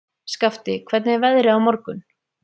Skafti, hvernig er veðrið á morgun?